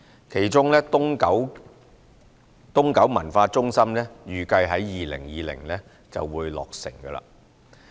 其中東九文化中心預計於2020年落成。